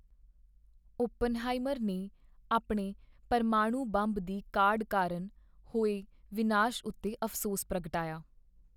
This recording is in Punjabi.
ਓਪਨਹਾਈਮਰ ਨੇ ਆਪਣੇ ਪਰਮਾਣੂ ਬੰਬ ਦੀ ਕਾਢ ਕਾਰਨ ਹੋਏ ਵਿਨਾਸ਼ ਉੱਤੇ ਅਫ਼ਸੋਸ ਪ੍ਰਗਟਾਇਆ।